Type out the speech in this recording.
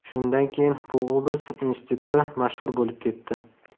Shundan keyin bu obraz institutda mashhur bo‘lib ketdi.